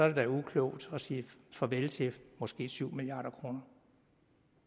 det da uklogt at sige farvel til måske syv milliard kr